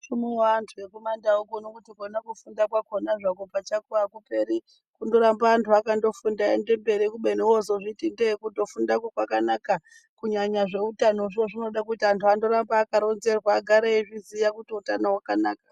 Hluno vantu vekuma ndau kuno kufunda kwakona akuperi kungorambe antu akangofunda kupera kufundako kwakanaka kunyanya zveutano izvozvo zvinoda antu arambe akaronzerwa agare eizvizviya utano wakanaka.